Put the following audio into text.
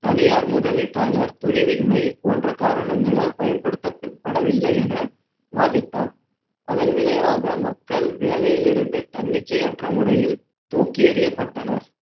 தனியார் முதலீட்டாளர் துணிவின்மை போன்ற காரணங்களால் பயன்படுத்தப்படவில்லை என வாதிட்டார் அதன் விளைவாக மக்கள் வேலையில் இருந்து தன்னிச்சையற்ற முறையில் தூக்கி எறியப்பட்டனர்